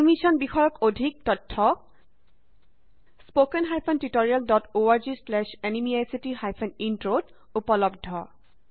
এই মিচন বিষয়ক অধিক information spoken hyphen tutorial dot org slash এনএমইআইচিত হাইফেন ইন্ট্ৰত উপলব্ধ